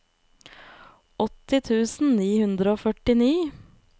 åtti tusen ni hundre og førtifire